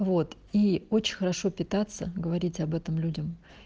вот и очень хорошо питаться говорить об этом людям